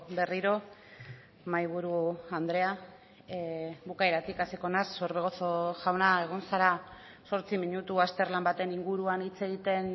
berriro mahaiburu andrea bukaeratik hasiko naiz orbegozo jauna egon zara zortzi minutu azterlan baten inguruan hitz egiten